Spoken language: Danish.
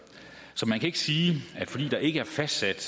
så man kan ikke sige at fordi der ikke er fastsat